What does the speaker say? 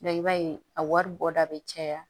i b'a ye a wari bɔda bɛ caya